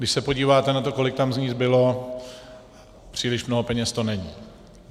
Když se podíváte na to, kolik tam z ní zbylo, příliš mnoho peněz to není.